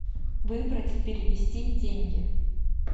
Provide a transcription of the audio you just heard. выбрать перевести деньги